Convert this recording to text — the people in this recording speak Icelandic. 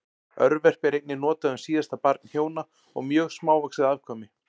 Örverpi er einnig notað um síðasta barn hjóna og mjög smávaxið afkvæmi.